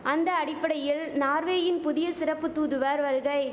அந்த அடிப்படையில் நார்வேயின் புதிய சிறப்பு தூதுவர் வருகை